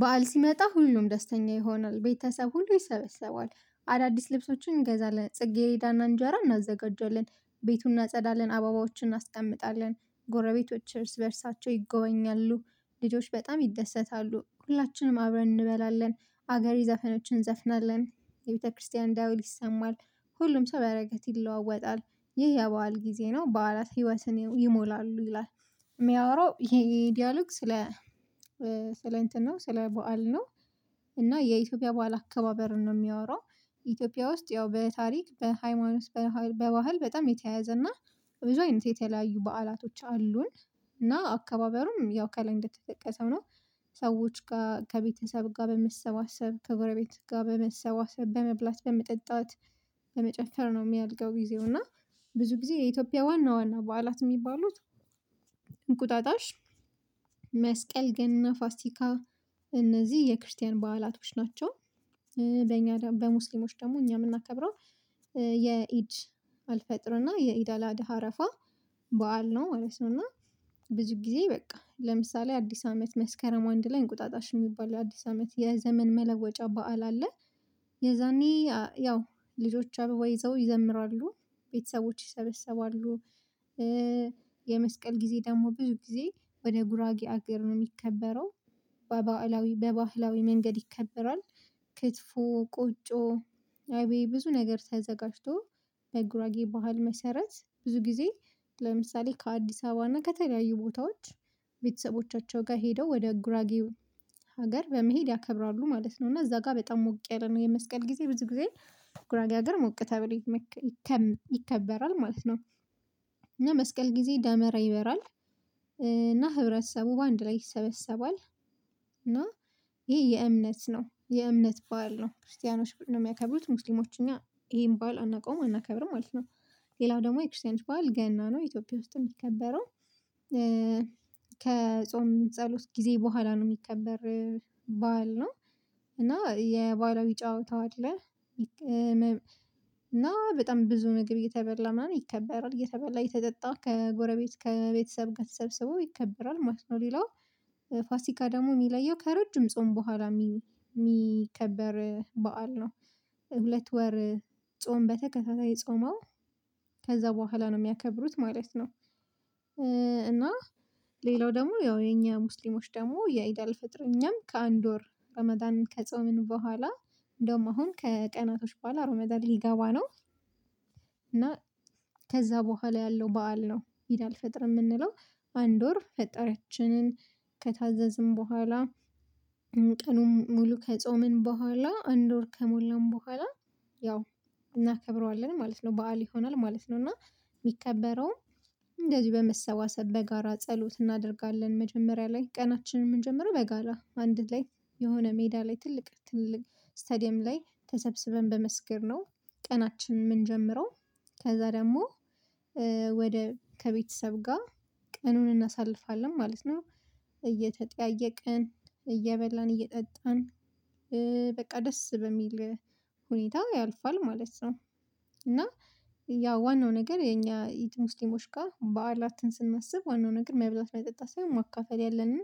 በዓል ሲመጣ ሁሉም ደስተኛ ይሆናል ቤተሰብ ሁሉ ይሰበሰባል። አዳዲስ ልብሶችን እንገዛለን ጽጌረዳና እንጀራ እናዘጋጃለን ቤቱን እናጸዳለን አባባዎችን እናስቀምጣለን ጎረቤቶች እርስ በእርሳቸው ይጎበኛሉ። ልጆች በጣም ይደሰታሉ ሁላችንም አብረን እንበላለን። አገሬ ዘፈኖችን ዘፍናለን የቤተክርስቲያን ዳዊት ይሰማል ሁሉም ሰው በረከት ይለዋወጣል። ይህ የበአል ጊዜ ነው በዓላት ህይወት ይሞላሉ ይላል። የሚያወራው ይሄ ዲያሎግ ስለ ስለ እንትን ነው ስለ በዓል ነው። እና የኢትዮጵያ በዓል አከባበርን ነው የሚያወራው። ኢትዮጵያ ውስጥ ያው በታሪክ በሃይማኖት በባህል በጣም የተያያዘ እና ብዙ አይነት የተለያዩ በዓላቶች አሉን። እና አከባበሩም ያው ከላይ እንደተጠቀሰው ነው። ሰዎች ጋር ከቤተሰብ ጋር በመሰባሰብ ከጎረቤት ጋር በመሰባሰብ በመብላት በመጠጣት። በመጨፈር ነው የሚያድገው ጊዜው እና ብዙ ጊዜ የኢትዮጵያ ዋና ዋና በዓላት የሚባሉት። እንቁጣጣሽ መስቀል ገና ፋሲካ እነዚህ የክርስቲያን በዓላቶች ናቸው። በእኛ በሙስሊሞች ደግሞ እኛ የምናከብረው የኢድ አልፈጥርና የኢዳ አላደሃ አረፋ በዓል ነው ማለት ነው። እና ብዙ ጊዜ በቃ ለምሳሌ አዲስ አመት መስከረም አንድ ላይ እንቁጣጣሽ የሚባለው አዲስ አመት የዘመን መለወጫ በዓል አለ። የዛኔ ያው ልጆች አበባ ይዘው ይዘምራሉ ቤተሰቦች ይሰበሰባሉ። የመስቀል ጊዜ ደግሞ ብዙ ጊዜ ወደ ጉራጌ አገር ነው የሚከበረው። በባዕላዊ በባህላዊ መንገድ ይከበራል። ክትፎ ቆጮ አይቤ ብዙ ነገር ተዘጋጅቶ በጉራጌ ባህል መሰረት ብዙ ጊዜ። ለምሳሌ ከአዲስ አበባ እና ከተለያዩ ቦታዎች ቤተሰቦቻቸው ጋር ሄደው ወደ ጉራጌ ሀገር በመሄድ ያከብራሉ ማለት ነው። እና እዛ ጋር በጣም ሞቅ ያለ ነው የመስቀል ጊዜ ብዙ ጊዜ ጉራጌ ሀገር ሞቅ ተብሎ ይከ ይከበራል ማለት ነው። እና መስቀል ጊዜ ደመራ ይበራል። እና ህብረተሰቡ በአንድ ላይ ይሰበሰባል። እና ይሄ የእምነት ነው የእምነት ባል ነው ክርስቲያኖች ነው የሚያከብሩት ሙስሊሞች እኛ ይሄን ባል አናውቀውም አናከብርም ማለት ነው። ሌላው ደግሞ የክርስቲያኖች ባል ገና ነው ኢትዮጵያ ውስጥ የሚከበረው። ከጾም ጸሎት ጊዜ በኋላ ነው የሚከበር ባል ነው። እና የባህላዊ ጨዋታው ይጫወታል። እና በጣም ብዙ ምግብ እየተበላ ምናምን ይከበራል እየተበላ የተጠጣ ከጎረቤት ከቤተሰብ ጋር ተሰብስበው ይከበራል ማለት ነው። ሌላው ፋሲካ ደግሞ የሚለየው ከረጅም ጾም በኋላ የሚ የሚከበር በዓል ነው። ሁለት ወር ጾም በተከታታይ ጾመው ከዛ በኋላ ነው የሚያከብሩት ማለት ነው። እና ሌላው ደግሞ ያው የኛ ሙስሊሞች ደግሞ የኢዳ አልፈጥር እኛም ከአንድ ወር ሮመዳን ከጾምን በኋላ እንደውም አሁን ከቀናቶች በኋላ እሮመዳን ሊገባ ነው። እና ከዛ በኋላ ያለው በዓል ነው ኢድ አልፈጥር የምንለው። አንድ ወር ፈጣሪያችንን ከታዘዝን በኋላ ቀኑን ሙሉ ከጾምን በኋላ አንድ ወር ከሞላን በኋላ ያው እናከብረዋለን ማለት ነው። በዓል ይሆናል ማለት ነው። እና የሚከበረውም እንደዚህ በመሰባሰብ በጋራ ጸሎት እናደርጋለን መጀመሪያ ላይ ቀናችንን ምንጀምረው በጋራ አንድ ላይ የሆነ ሜዳ ላይ ትልቅ ትልቅ ስታዲየም ላይ ተሰብስበን በመስገድ ነው ቀናችንን የምንጀምረው። ከዛ ደግሞ ወደ ከቤተሰብ ጋር ቀኑን እናሳልፋለን ማለት ነው። እየተጠያየቅን እየበላን እየጠጣን በቃ ደስ በሚል ሁኔታ ያልፋል ማለት ነው። እና ያው ዋናው ነገር የኛ የጥሙስሊሞች ጋር ባላትን ስናስብ ዋናው ነገር መብላት መጠጣት ሳይሆን ማካፈል ያለንን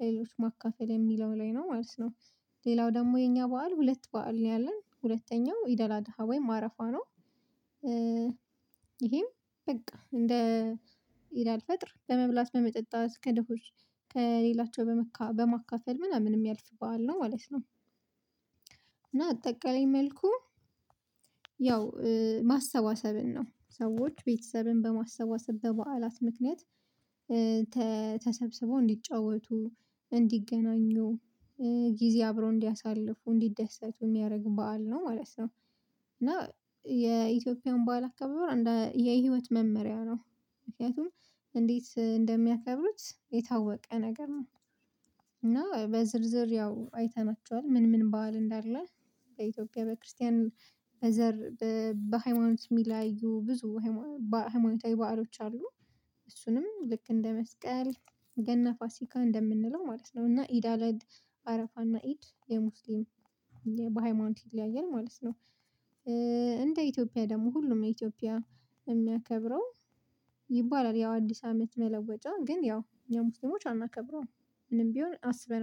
ለሌሎች ማካፈል የሚለው ላይ ነው ማለት ነው። ሌላው ደግሞ የኛ በዓል ሁለት በዓል ነው ያለን ሁለተኛው ኢዳላድሃ ወይም አረፋ ነው። ይሄም በቃ እንደ ይላል ፈጥር በመብላት በመጠጣት ከድሆች ከሌላቸው በመካ በማካፈል ምናምንም ያልፍ በዓል ነው ማለት ነው። እና አጠቃላይ መልኩ ያው ማሰባሰብን ነው ሰዎች ቤተሰብን በማሰባሰብ በበዓላት ምክንያት ተሰብስበው እንዲጫወቱ እንዲገናኙ ጊዜ አብረው እንዲያሳልፉ እንዲደሰቱ የሚያደርግ በዓል ነው ማለት ነው። እና የኢትዮጵያን በዓል አካባቢ ወር የህይወት መመሪያ ነው። ምክንያቱም እንዴት እንደሚያከብሩት የታወቀ ነገር ነው። እና በዝርዝር ያው አይተናቸዋል ምን ምን በዋል እንዳለ ከኢትዮጵያ በክርስቲያን በዘር በሃይማኖት የሚለያዩ ብዙ ሃይማኖታዊ በዓሎች አሉ። እሱንም ልክ እንደ መስቀል ገና ፋሲካ እንደምንለው ማለት ነው። እና ኢዳለድ አረፋና ኢድ የሙስሊም በሃይማኖት ይለያያል ማለት ነው። እንደ ኢትዮጵያ ደግሞ ሁሉም ነው ኢትዮጵያ የሚያከብረው ይባላል ያው አዲስ አመት መለወጥ ግን ያው የሙሴሞች አናከብረውም። ምንም ቢሆን አስበን